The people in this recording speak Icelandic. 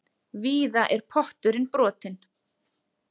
Víða er pottur brotinn.